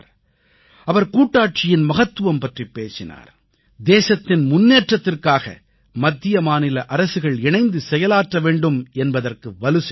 அவர் கூட்டாட்சியின் மகத்துவம் பற்றிப் பேசினார் தேசத்தின் முன்னேற்றத்திற்காக மத்தியமாநில அரசுகள் இணைந்து செயலாற்ற வேண்டும் என்பதற்கு வலுசேர்த்தார்